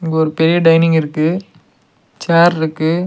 ஒரு பெரிய டைனிங் இருக்கு சேர் இருக்கு.